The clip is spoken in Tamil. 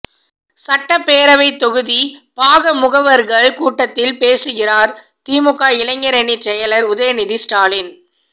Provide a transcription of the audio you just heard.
சட்டப்பேரவைத் தொகுதி பாகமுகவா்கள் கூட்டத்தில் பேசுகிறாா் திமுக இளைஞரணிச் செயலா் உதயநிதி ஸ்டாலின்